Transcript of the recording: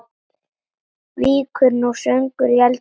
Víkur nú sögunni í eldhús.